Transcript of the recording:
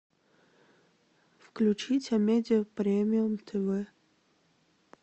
включить амедиа премиум тв